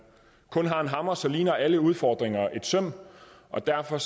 kun har en hammer så ligner alle udfordringer et søm og derfor